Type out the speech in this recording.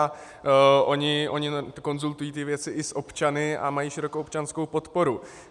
A oni konzultují ty věci i s občany a mají širokou občanskou podporu.